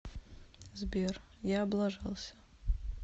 сбер я облажался